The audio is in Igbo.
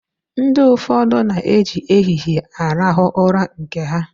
Ndi ụfọdụ na-eji ehihie arahụ ụra nke ha.